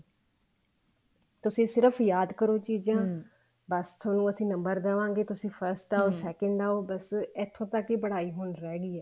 ਤੁਸੀਂ ਸਿਰਫ ਯਾਦ ਕਰੋ ਬੱਸ ਥੋਨੂੰ ਅਸੀਂ number ਦਵਾਂਗੇ ਤੁਸੀਂ first second ਆਓ ਬੱਸ ਇੱਥੋਂ ਤੱਕ ਹੀ ਪੜ੍ਹਾਈ ਹੁਣ ਰਿਹ ਗਈ ਹੈ